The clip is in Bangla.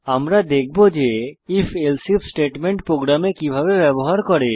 আমরা দেখব যে IfElse আইএফ স্টেটমেন্ট প্রোগ্রামে কিভাবে ব্যবহার করা হয়